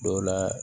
Dɔw la